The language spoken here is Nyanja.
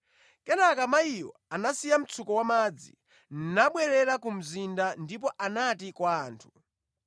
Kenaka mayiyo anasiya mtsuko wamadzi, nabwerera ku mzinda ndipo anati kwa anthu,